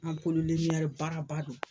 baaraba don.